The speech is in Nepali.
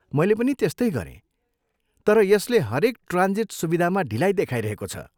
मैले पनि त्यस्तै गरेँ, तर यसले हरेक ट्रान्जिट सुविधामा ढिलाइ देखाइरहेको छ।